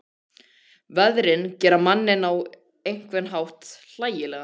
Veðrin gera manninn á einhvern hátt hlægilegan.